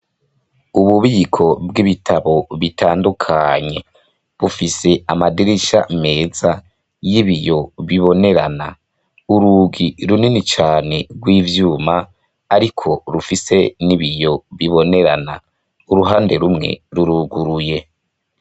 Ububiko bw'ibitabo bitandukanye. Bufise amadirisha meza y'ibiyo bibonerana. Urugi runini cane rw'ivyuma ariko rufise ibiyo bibonerana, uruhande rumwe ruruguruye.